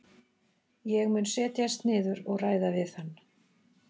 Ég mun setjast niður og ræða við hann.